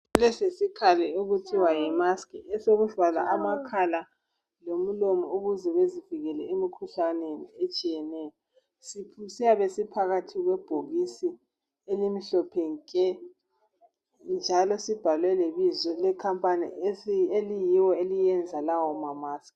Lesi yisikhali okuthiwa yimaski esokuvala amakhala lomlomo ukuze bezivikele emkhuhlaneni ehlukeneyo siyabe siphakathi kwebhokisi elimhlophe nke njalo sibhalwe lebizo elecompany eliyilo elilenza lawa mamaski.